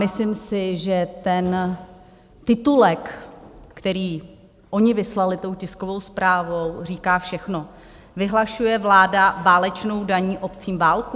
Myslím si, že ten titulek, který oni vyslali tou tiskovou zprávou, říká všechno: "Vyhlašuje vláda válečnou daní obcím válku?"